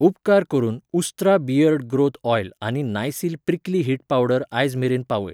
उपकार करून Ustraa beard growth oil आनी नायसील प्रिक्ली हीट पावडर आयज मेरेन पावय.